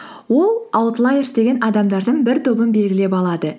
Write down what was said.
ол аутлайерс деген адамдардың бір тобын белгілеп алады